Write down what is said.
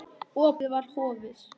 Opið var horfið.